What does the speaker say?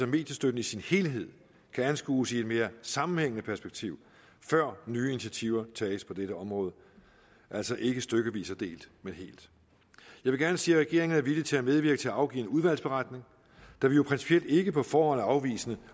at mediestøtten i sin helhed kan anskues i et mere sammenhængende perspektiv før nye initiativer tages på dette område altså ikke stykvis og delt men helt jeg vil gerne sige at regeringen er villig til at medvirke til at afgive en udvalgsberetning da vi jo principielt ikke på forhånd er afvisende